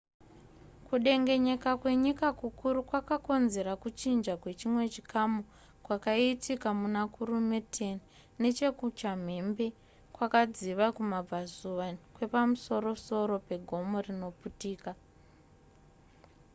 kudengenyeka kwenyika kukuru kwakakonzera kuchinja kwechimwe chikamu kwakaitika muna kurume 10 neche kuchambembe kwakadziva kumabvazuva kwepamusorosoro pegomo rinoputika